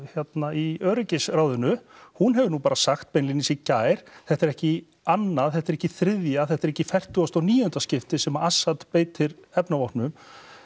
í öryggisráðinu hún hefur nú bara sagt beinlínis í gær þetta er ekki í annað þetta er ekki í þriðja þetta er ekki í fertugasta og níunda skipti sem Assad beitir efnavopnum